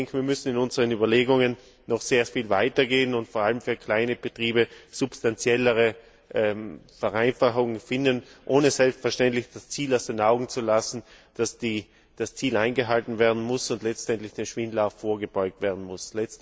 Wir müssen in unseren Überlegungen noch sehr viel weiter gehen und vor allem für kleine Betriebe substanziellere Vereinfachungen finden, ohne selbstverständlich das Ziel aus den Augen zu lassen, dass das Ziel eingehalten und letztlich dem Schwindel vorgebeugt werden muss.